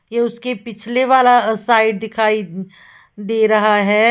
ये उसके पिछले वाला साइड दिखाई दे रहा है।